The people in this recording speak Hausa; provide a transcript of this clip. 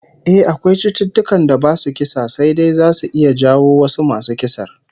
Eh, akwai cututtukan da basu kisa sai dai zasu iya jawo wasu masu kisar